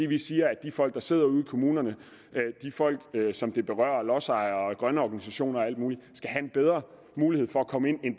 vi siger at de folk der sidder ude i kommunerne de folk som det berører lodsejere og grønne organisationer og alt muligt skal have en bedre mulighed for at komme